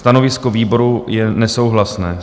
Stanovisko výboru je nesouhlasné.